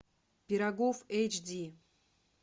пирогов эйч ди